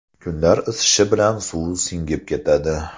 Kunlar isishi bilan suv singib ketadi.